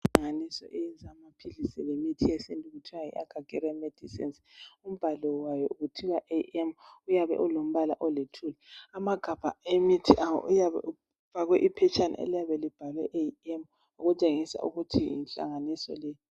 Inhlanganiso eyenza amaphilisi lemithi yesintu okuthwa yi Akhagera medisenizi. Umbhalo wayo kuthiwa AM, uyabe ulombala olithuli. Amagabha emithi abo uyabe ufakwe iphetshana elibhalwe AM okutshengisa ukuthi yinhlanganiso le.